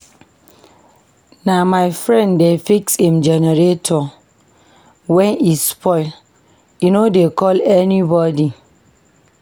Na my friend dey fix im generator wen e spoil, e no dey call anybodi.